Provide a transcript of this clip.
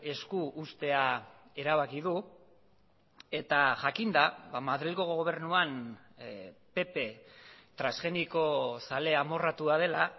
esku uztea erabaki du eta jakinda madrilgo gobernuan pp transgenikozale amorratua dela